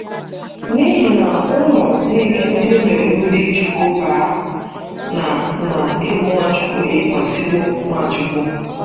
N’ihi na unu nile ndị e mere mmiri chukwu baa na na ị bụ Nwachukwu eyikwasịwo Nwachukwu.